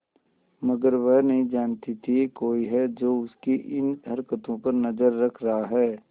मगर वह नहीं जानती थी कोई है जो उसकी इन हरकतों पर नजर रख रहा है